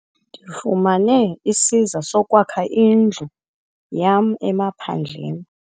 Ndifumene isiza sokwakha indlu yam emaphandleni.